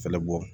Fɛnɛ bɔ